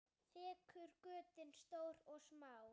Þekur götin stór og smá.